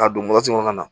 K'a don kɔnɔ